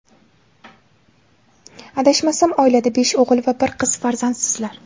Adashmasam, oilada besh o‘g‘il va bir qiz farzandsizlar?..